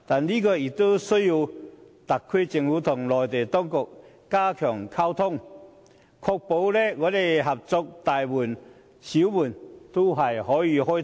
不過，這有賴特區政府與內地當局加強溝通和合作，確保合作的大門與小門都可以開通。